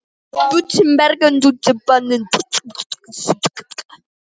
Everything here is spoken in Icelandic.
Þá var vík milli vina.